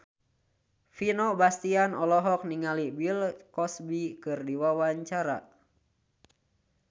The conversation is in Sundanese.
Vino Bastian olohok ningali Bill Cosby keur diwawancara